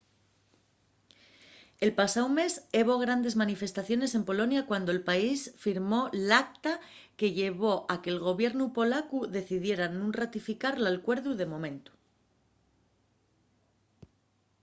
el pasáu mes hebo grandes manifestaciones en polonia cuando'l país firmó l'acta que llevó a que'l gobiernu polacu decidiera nun ratificar l'alcuerdu de momentu